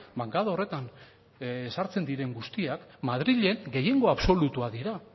bankada horretan sartzen diren guztiak madrilen gehiengo absolutua dira